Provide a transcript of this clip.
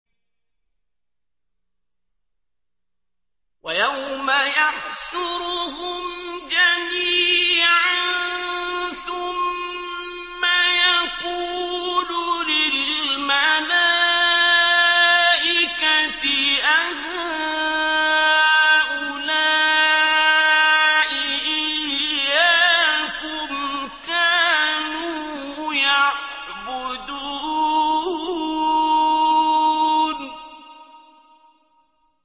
وَيَوْمَ يَحْشُرُهُمْ جَمِيعًا ثُمَّ يَقُولُ لِلْمَلَائِكَةِ أَهَٰؤُلَاءِ إِيَّاكُمْ كَانُوا يَعْبُدُونَ